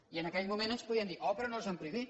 i en aquell moment ens podien dir oh però no els han prohibit